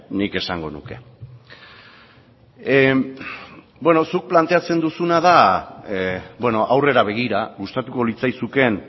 nik esango nuke beno zuk planteatzen duzuna da aurrera begira gustatuko litzaizukeen